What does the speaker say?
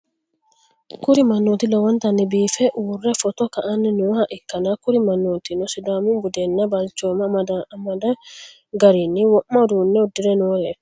kuri mannooti lowontanni biife uurre footo ka'anni nooha ikkanna, kuri mannootino sidaamu budenna balchooma amando garinni wo'ma uduunne uddi're nooreeti.